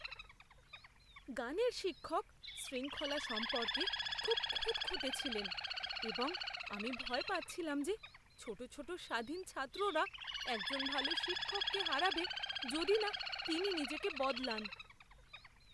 গানের শিক্ষক শৃঙ্খলা সম্পর্কে খুব খুঁতখুঁতে ছিলেন এবং আমি ভয় পাচ্ছিলাম যে ছোটো ছোটো স্বাধীন ছাত্ররা একজন ভাল শিক্ষককে হারাবে যদি না তিনি নিজেকে বদলান।